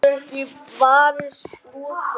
Hún getur ekki varist brosi.